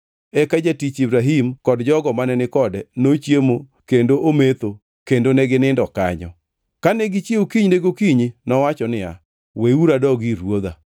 Eka jatich Ibrahim kod jogo mane ni kode nochiemo kendo ometho kendo ne ginindo kanyo. Kane gichiewo kinyne gokinyi nowacho niya, “Weuru adog ir ruodha.”